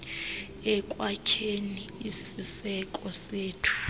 ekwakheni isiseko sethu